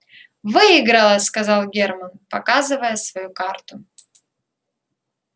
выиграла сказал германн показывая свою карту